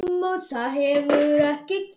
Þar hefur ekkert gerst.